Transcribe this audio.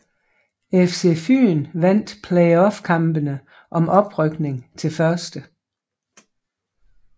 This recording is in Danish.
FC Fyn vandt playoffkampene om oprykning til 1